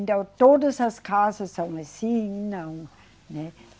Então, todas as casas são assim, não, né?